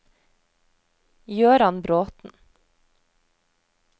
Jøran Bråten